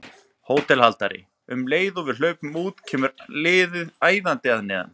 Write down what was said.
HÓTELHALDARI: Um leið og við hlaupum út kemur allt liðið æðandi að neðan.